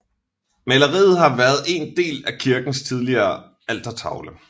Maleriet har været en del af kirkens tidligere altertavle